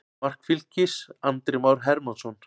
Mark Fylkis: Andri Már Hermannsson.